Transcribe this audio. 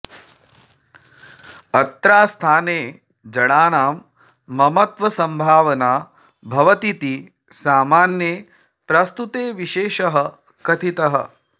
अत्रास्थाने जडानां ममत्वसंभावना भवतीति सामान्ये प्रस्तुते विशेषः कथितः